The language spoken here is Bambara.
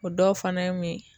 O dɔw fana ye mun ye